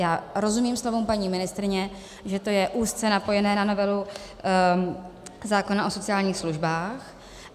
Já rozumím slovům paní ministryně, že to je úzce napojené na novelu zákona o sociálních službách.